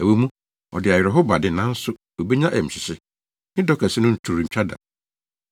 Ɛwɔ mu, ɔde awerɛhow ba de, nanso obenya ayamhyehye. Ne dɔ kɛse no to rentwa da.